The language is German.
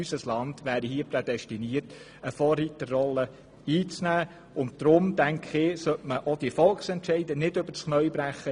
Meines Erachtens wäre unser Land für eine Vorreiterrolle prädestiniert, und deshalb sollte man auch diese Volksentscheide nicht übers Knie brechen.